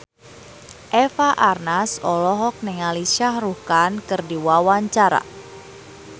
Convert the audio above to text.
Eva Arnaz olohok ningali Shah Rukh Khan keur diwawancara